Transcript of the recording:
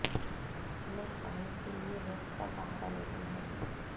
इन्हें हटाने के लिए वैक्स का सहारा लेती हैं